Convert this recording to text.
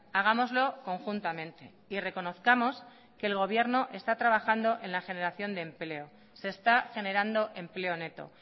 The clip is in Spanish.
hagámoslo conjuntamente y reconozcamos que el gobierno está trabajando en la generación de empleo se está generando empleo neto